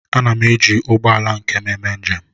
Ana m eji ụgbọ ala nke m eme njem